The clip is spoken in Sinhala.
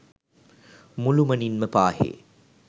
මුළුමනින් ම පාහේ